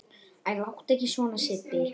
Æ, láttu ekki svona Sibbi